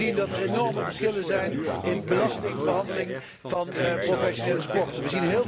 Wij zien dat er enorme verschillen zijn in belastingbehandeling van professionele sporten.